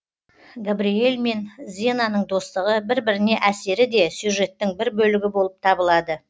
габриэль мен зенаның достығы бір біріне әсері де сюжеттің бір бөлігі болып табылады